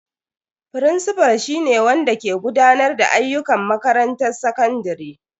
Firincifal shi ne wanda ke gudanar da ayyukan makarantar sakandare.